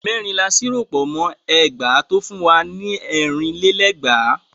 Mẹ́rin la ṣírò pọ̀ mọ́ ẹgbàá tó fún wa ní ẹ̀rin lé lẹ́gbàá.